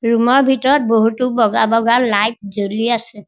Room ৰ ভিতৰত বহুতো বগা বগা লাইট জ্বলি আছে।